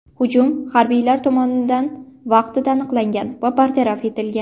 Hujum harbiylar tomonidan vaqtida aniqlangan va bartaraf etilgan.